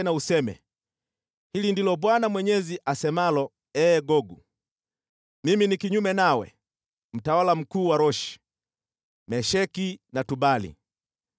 na useme: ‘Hili ndilo Bwana Mwenyezi asemalo: Ee Gogu, mimi ni kinyume nawe, mtawala mkuu wa Roshi, Mesheki na Tubali.